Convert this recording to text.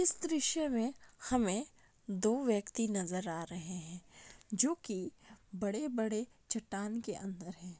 इस दृश्य में हमें दो व्यक्ति नजर आ रहे हैं जो कि बड़े-बड़े चट्टान के अंदर हैं।